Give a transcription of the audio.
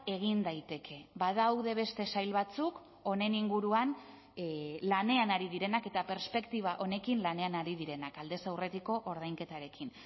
egin daiteke badaude beste sail batzuk honen inguruan lanean ari direnak eta perspektiba honekin lanean ari direnak aldez aurretiko ordainketarekin